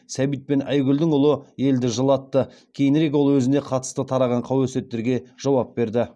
сәбит пен айгүлдің ұлы елді жылатты кейінірек ол өзіне қатысты тараған қауесеттерге жауап берді